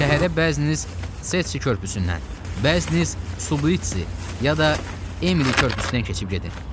Şəhərə bəziniz çetçi körpüsündən, bəziniz Sublitsi ya da Emili körpüsündən keçib gedin.